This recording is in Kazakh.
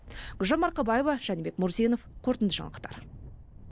гүлжан марқабаева жәнібек мурзинов қорытынды жаңалықтар